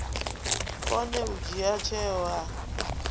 kone u dzhia tsheo a